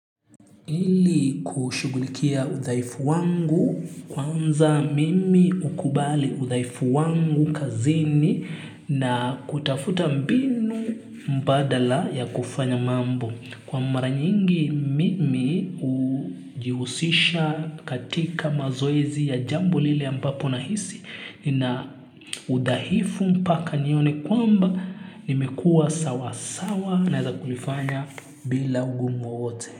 Ili kushughulikia udhaifu wangu kwanza mimi hukubali udhaifu wangu kazini na kutafuta mbinu mbadala ya kufanya mambo. Kwa mara nyingi mimi hujihusisha katika mazoezi ya jambo lile ambapo nahisi nina udhaifu mpaka nione kwamba nimekuwa sawa sawa na za kulifanya bila ugumu wowote.